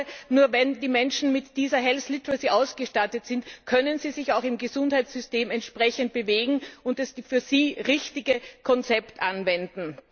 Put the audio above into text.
Denn ich glaube, nur wenn die Menschen mit dieser health literacy ausgestattet sind, können sie sich auch im Gesundheitssystem entsprechend bewegen und das für sie richtige Konzept anwenden.